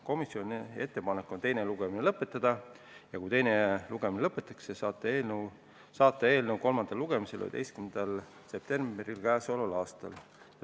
Komisjoni ettepanek on teine lugemine lõpetada ja kui teine lugemine lõpetatakse, siis saata eelnõu kolmandale lugemisele k.a 11. detsembril.